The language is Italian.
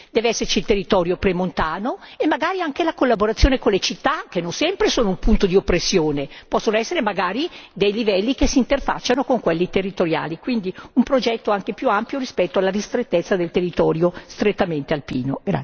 Deve esserci il territorio premontano e magari anche la collaborazione con le città che non sempre sono un punto di oppressione, possono essere magari dei livelli che si interfacciano con quelli territoriali quindi un progetto anche più ampio rispetto alla ristrettezza del territorio strettamente alpino.